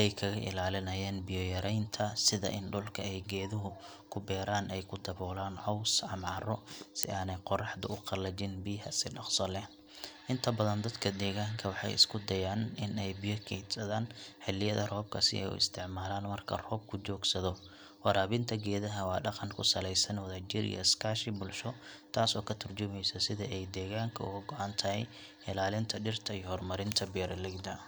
ay kaga ilaaliyaan biyo yaraanta sida in dhulka ay geedaha ku beeraan ay ku daboolaan caws ama carro si aanay qorraxdu u qalajin biyaha si dhaqso ah. Inta badan dadka deegaanka waxay isku dayaan in ay biyo kaydsadaan xilliyada roobka si ay u isticmaalaan marka roobku joogsado. Waraabinta geedaha waa dhaqan ku salaysan wadajir iyo iskaashi bulsho taasoo ka turjumaysa sida ay deegaanka uga go’an tahay ilaalinta dhirta iyo horumarinta beeralayda.